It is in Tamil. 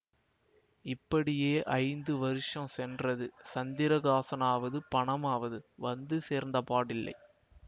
இப்படியே ஐந்து வருஷம் சென்றது சந்திரகாசனாவது பணமாவது வந்து சேர்ந்தபாடில்லை